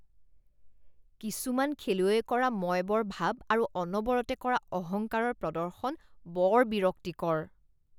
কিছুমান খেলুৱৈয়ে কৰা মইবৰ ভাব আৰু অনবৰতে কৰা অহংকাৰৰ প্ৰদৰ্শন বৰ বিৰক্তিকৰ